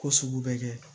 Ko sugu bɛ kɛ